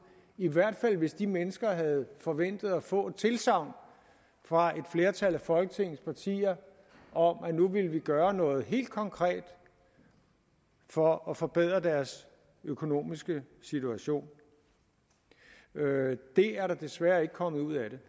i hvert fald hvis de mennesker havde forventet at få et tilsagn fra et flertal af folketingets partier om at nu ville vi gøre noget helt konkret for at forbedre deres økonomiske situation det er der desværre ikke kommet ud af det